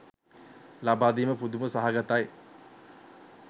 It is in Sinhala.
ලබාදීම පුදුම සහගතයි.